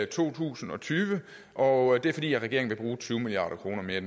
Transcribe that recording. to tusind og tyve og det er fordi regeringen vil bruge tyve milliard kroner mere